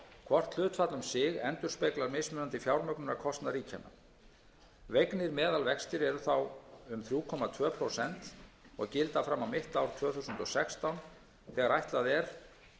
hvort hlutfall um sig endurspeglar mismunandi fjármögnunarkostnað ríkjanna vegnir meðalvextir eru þá um þrjú komma tvö prósent og gilda fram á mitt ár tvö þúsund og sextán þegar ætlað er